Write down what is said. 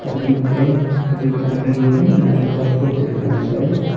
தண்ணி can full தண்ணியோட மேல கப் வச்சிருக்காங்க.